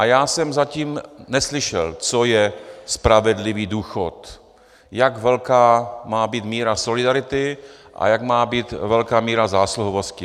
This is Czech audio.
A já jsem zatím neslyšel, co je spravedlivý důchod, jak velká má být míra solidarity a jak má být velká míra zásluhovosti.